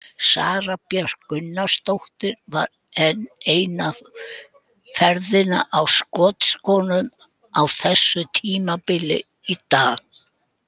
Sara Björk Gunnarsdóttir var enn eina ferðina á skotskónum á þessu tímabili í dag.